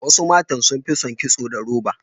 Wasu matan sun fi son kitso da roba.